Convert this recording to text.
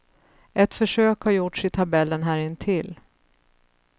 Ett försök har gjorts i tabellen här intill.